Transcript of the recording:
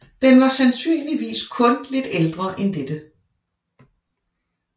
Den var sandsynligvis kun lidt ældre en dette